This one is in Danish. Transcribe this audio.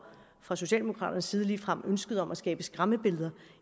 fra socialdemokraternes side ligefrem et ønske om at skabe skræmmebilleder